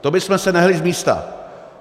To bychom se nehnuli z místa.